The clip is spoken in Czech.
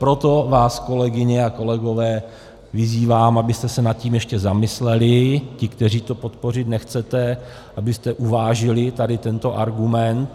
Proto vás, kolegyně a kolegové, vyzývám, abyste se nad tím ještě zamysleli, vy, kteří to podpořit nechcete, abyste uvážili tady tento argument.